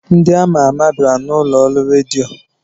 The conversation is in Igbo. Ndị ama ama bịara n'ụlọ ọrụ redio.